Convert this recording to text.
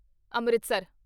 Amritsar